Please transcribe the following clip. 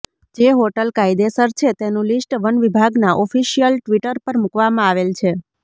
જે હોટલ કાયદેસર છે તેનું લીસ્ટ વનવિભાગના ઓફીસીયલ ટવીટર પર મુકવામાં આવેલ છે